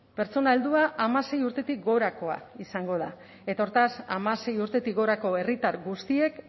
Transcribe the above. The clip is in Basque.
pertsona heldua hamasei urtetik gorakoa izango da eta hortaz hamasei urtetik gorako herritar guztiek